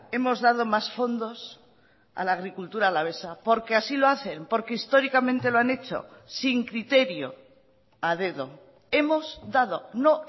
hemos dado más fondos a la agricultura alavesa porque así lo hacen porque históricamente lo han hecho sin criterio a dedo hemos dado no